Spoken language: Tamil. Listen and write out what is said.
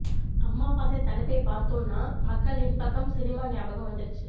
அம்மாவாசை தலைப்பை பார்தோன்னா மக்கள் என் பக்கம் சினிமா ஞாபாகம் வந்திருச்சு